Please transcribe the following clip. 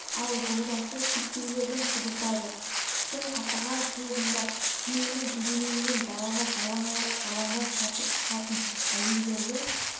ал жолдасы шектеулерін шұбыртады қыстың қақаған суығында күйеуінің төбелеуінен далаға жалаң аяқ жалаңбас қашып шығатын әйелдерді